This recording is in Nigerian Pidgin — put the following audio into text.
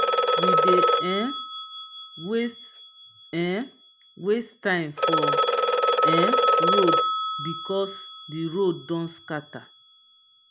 we dey um waste um waste time for um road because di road don scatter.